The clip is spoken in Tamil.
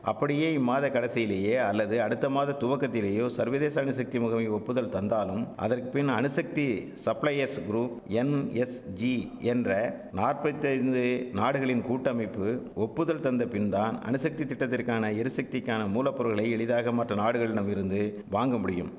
அப்படியே இம்மாத கடைசியிலேயே அல்லது அடுத்தமாத துவக்கத்திலேயோ சர்வதேச அணுசக்தி முகமை ஒப்புதல் தந்தாலும் அதற்க்பின் அணுசக்தி சப்ளையஸ் குரூப் என்எஸ்ஜி என்ற நாற்பத்தைந்து நாடுகளின் கூட்டமைப்பு ஒப்புதல் தந்தபின்தான் அணுசக்தி திட்டத்திற்கான எரிசக்திக்கான மூலப்பொருள்களை எளிதாக மற்ற நாடுகளிடமிருந்து வாங்க முடியும்